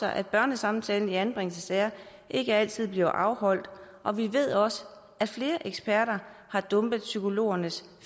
at børnesamtalen i anbringelsessager ikke altid bliver afholdt og vi ved også at flere eksperter har dumpet psykologernes